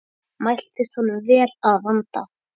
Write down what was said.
Mæltist honum vel að vanda.